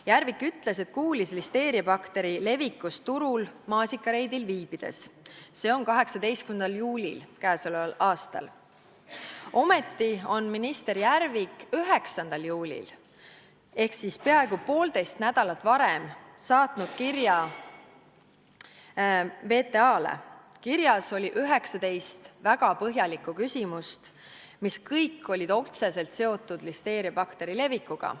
Järvik ütles, et kuulis listeeriabakteri levikust turul maasikareidil viibides, see oli 18. juulil k.a. Ometi saatis minister Järvik 9. juulil ehk peaaegu poolteist nädalat varem VTA-le kirja, kus oli 19 väga põhjalikku küsimust, mis kõik olid otseselt seotud listeeriabakteri levikuga.